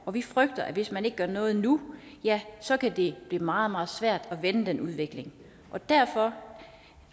og vi frygter at hvis man ikke gør noget nu ja så kan det blive meget meget svært at vende den udvikling og derfor